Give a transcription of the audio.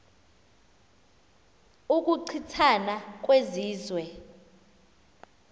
ukuchi thana kwezizwe